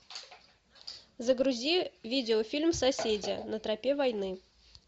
загрузи видеофильм соседи на тропе войны